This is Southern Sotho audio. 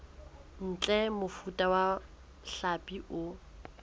ntle mofuta wa hlapi o